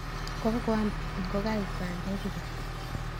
kakoam ingokaik bandek kobek